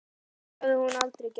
Það hafði hún aldrei gert.